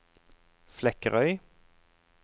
Flekkerøy